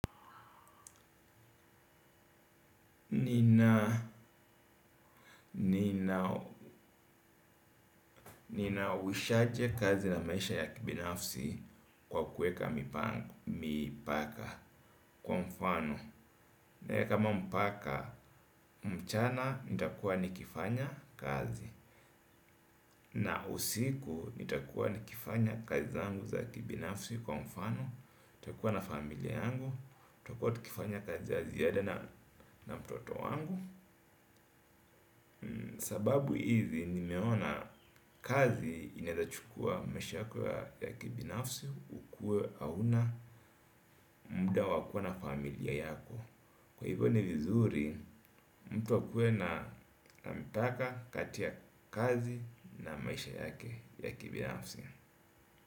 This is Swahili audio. Nina uwishaje kazi na maisha ya kibinafsi kwa kuweka mpaka kwa mfano. Naeka mpaka mchana nitakuwa nikifanya kazi. Na usiku nitakuwa nikifanya kazi zangu za kibinafsi kwa mfano. Takuwa na familia yangu. Takuwa tukifanya kazi ya ziada na mtoto wangu. Sababu hizi nimeona kazi inaezachukua maisha yako ya kibinafsi. Ukue hauna muda wa kuwa na familia yako. Kwa hivyo ni vizuri mtu akue na mipaka kati ya kazi na maisha yake ya kibinafsi.